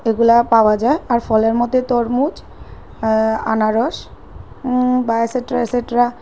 এগুলা পাওয়া যায় আর ফলের মধ্যে তরমুজ এ্যা আনারস উ বা এটসেটরা এটসেটরা --